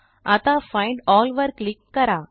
आता find all वर click करा